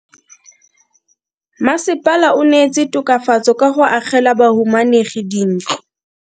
Mmasepala o neetse tokafatso ka go agela bahumanegi dintlo.